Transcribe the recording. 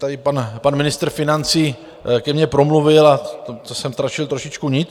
Tady pan ministr financí ke mně promluvil a to jsem ztratil trošku nit.